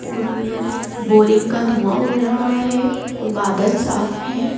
और बोरिंग का धुआं उड़ रहा है और बादल साफ है।